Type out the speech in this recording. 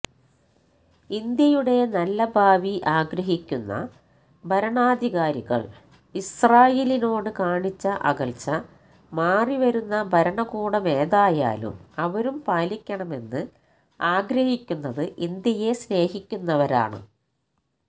ഇന്ത്യയുടെ നല്ല ഭാവി ആഗ്രഹിക്കുന്ന ഭരണാധികാരികള് ഇസ്രാഈലിനോട് കാണിച്ച അകല്ച്ച മാറിവരുന്ന ഭരണകൂടമേതായാലും അവരും പാലിക്കണമെന്ന് ആഗ്രഹിക്കുന്നത് ഇന്ത്യയെ സ്നേഹിക്കുന്നവരാണ്